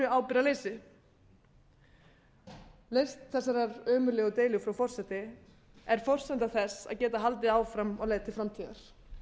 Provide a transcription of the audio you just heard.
ábyrgðarleysi lausn þessarar ömurlegu deilu frú forseti er forsenda þess að geta haldið áfram á leið til framtíðar